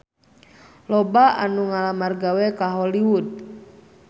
Loba anu ngalamar gawe ka Hollywood